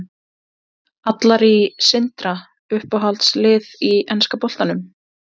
Allar í Sindra Uppáhalds lið í enska boltanum?